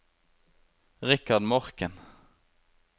Richard Morken